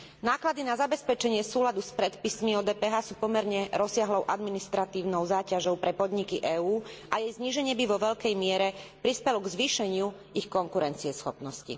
Náklady na zabezpečenie súladu s predpismi o DPH sú pomerne rozsiahlou administratívnou záťažou pre podniky EÚ a jej zníženie by vo veľkej miere prispelo k zvýšeniu ich konkurencieschopnosti.